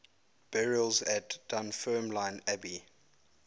burials at dunfermline abbey